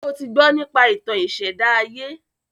Ṣé o ti gbọ́ nípa ìtàn ìṣèdá ayé?